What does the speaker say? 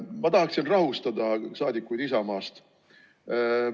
Ma tahaksin rahustada rahvasaadikuid Isamaast.